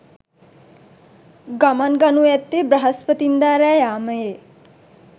ගමන් ගනු ඇත්තේ බ්‍රහස්පතින්දා රෑ යාමයේ.